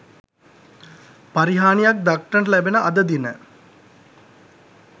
පරිහානියක් දක්නට ලැබෙන අද දින